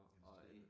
Og industrikøb